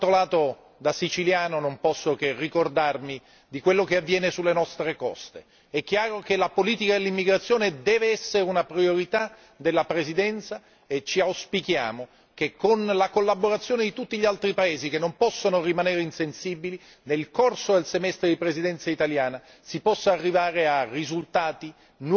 Ma d'altro canto, da siciliano, non posso che ricordarmi di quello che avviene sulle nostre coste. È chiaro che la politica dell'immigrazione deve essere una priorità della Presidenza e auspichiamo che, con la collaborazione di tutti gli altri Paesi che non possono rimanere insensibili, nel corso del semestre di Presidenza italiana si possa arrivare a risultati